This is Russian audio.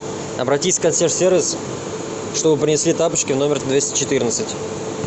обратись в консьерж сервис чтобы принесли тапочки в номер двести четырнадцать